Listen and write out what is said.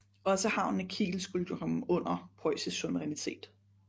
Også havnen i Kiel skulle komme under preussisk souverinitæt